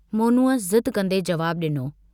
मोनूअ ज़िदु कन्दे जवाबु डिनो।